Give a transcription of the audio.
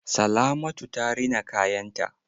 Salamatu ta rina kayan ta.